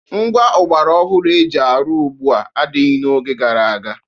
Ngwá ọgbara ọhụrụ e ji arụ ugbua adịghị ya n'oge gara aga.